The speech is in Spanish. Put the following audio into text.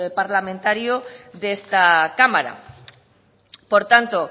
parlamentaria de esta cámara por tanto